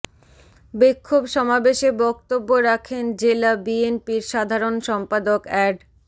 বিক্ষোভ সমাবেশে বক্তব্য রাখেন জেলা বিএনপির সাধারণ সম্পাদক অ্যাড